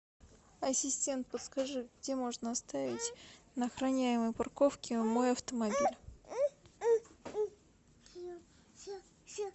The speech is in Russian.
ассистент подскажи где можно оставить на охраняемой парковке мой автомобиль